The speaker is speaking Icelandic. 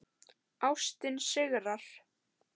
Ástin sigrar.